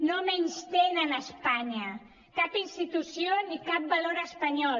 no menystenen espanya cap institució ni cap valor espanyol